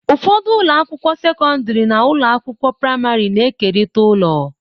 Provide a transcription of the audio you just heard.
Ụfọdụ ụlọ akwụkwọ sekọndrị na ụlọ akwụkwọ praịmarị na-ekerịta ụlọ.